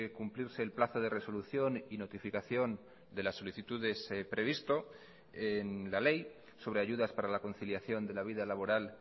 cumplirse el plazo de resolución y notificación de las solicitudes previsto en la ley sobre ayudas para la conciliación de la vida laboral